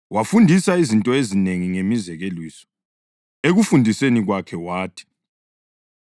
Wabafundisa izinto ezinengi ngemizekeliso, ekufundiseni kwakhe wathi: